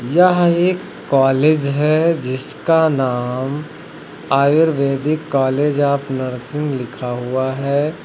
यह एक कॉलेज है जिसका नाम आयुर्वेदिक कॉलेज ऑफ नर्सिंग लिखा हुआ है।